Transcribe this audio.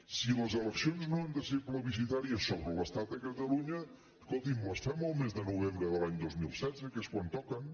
si les eleccions no han de ser plebiscitàries sobre l’estat i catalunya escolti’m les fem el mes de novembre de l’any dos mil setze que és quan toquen